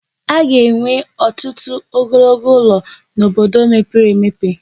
A ga-enwe ọtụtụ ogologo ụlọ n'obodo mepere emepe.